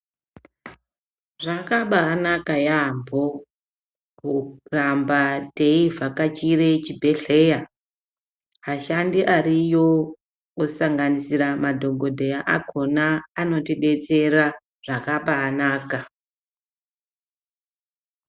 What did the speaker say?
Zvakabanaka yaamho. kuramba teivhakachire chibhedhleya vashandi variyo kusanganisird madhokodheya akhona anotidetsera zvakabanaka.